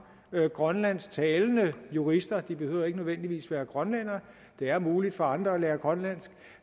grønlandsktalende jurister de behøver ikke nødvendigvis være grønlændere det er muligt for andre at lære grønlandsk